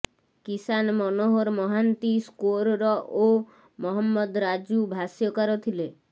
କିଶାନ Manohar Mahanti scorer ଓ ମହମ୍ମଦ ରାଜୁ ଭାଷ୍ୟକାର ଥିଲେ